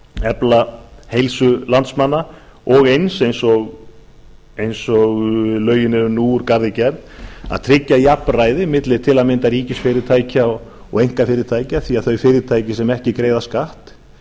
efla heilsu landsmanna og eins eins og lögin eru nú úr garði gerð að tryggja jafnræði milli til að mynda ríkisfyrirtækja og einkafyrirtækja því þau fyrirtæki sem ekki greiða skatt